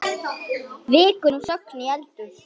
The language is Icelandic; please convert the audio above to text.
Víkur nú sögunni í eldhús.